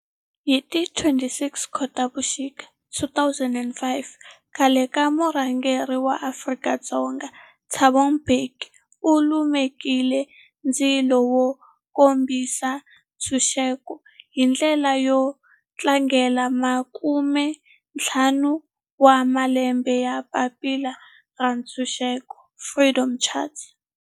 Hi ti 26 Khotavuxika 2005 khale ka murhangeri wa Afrika-Dzonga Thabo Mbeki u lumekile ndzilo wo kombisa ntshuxeko, hi ndlela yo tlangela makumentlhanu wa malembe ya papila ra timfanelo, Freedom Charter.